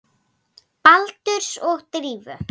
Baldurs og Drífu?